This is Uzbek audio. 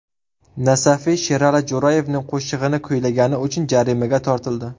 Nasafiy Sherali Jo‘rayevning qo‘shig‘ini kuylagani uchun jarimaga tortildi.